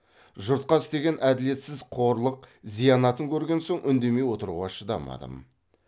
жұртқа істеген әділетсіз қорлық зиянатын көрген соң үндемей отыруға шыдамадым